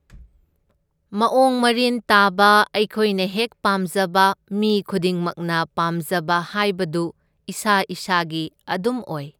ꯃꯑꯣꯡ ꯃꯔꯤꯟ ꯇꯥꯕ ꯑꯩꯈꯣꯏꯅ ꯍꯦꯛ ꯄꯥꯝꯖꯕ ꯃꯤ ꯈꯨꯗꯤꯡꯃꯛꯅ ꯄꯥꯝꯖꯕ ꯍꯥꯏꯕꯗꯨ ꯏꯁꯥ ꯏꯁꯥꯒꯤ ꯑꯗꯨꯝ ꯑꯣꯏ꯫